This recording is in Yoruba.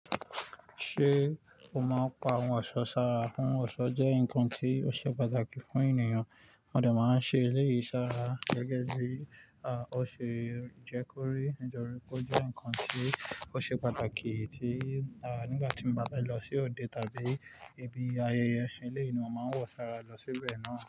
Ṣé o máa pa àwọn ọ̀ṣọ́ sára? Fún ọ̀ṣọ́ jẹ́ nǹkan tí ó ṣe pàtàkì fún ènìyàn, mò dẹ̀ máa n ṣe eléyìí sára gẹ́gẹ́ bí ó ṣe jẹ́ kó rí, níjọ́rí pé ó jẹ́ nǹkan tí ó ṣe pàtàkì tí nígbà tí mo bá fẹ́ lọ sí òde tàbí ibi ayẹyẹ, eléyìí ni mo máa nwọ sára lọ síbẹ̀ náà.